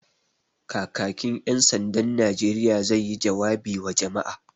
Kakakin ƴan sandan Najeriya zai yi jawabi wa jama'a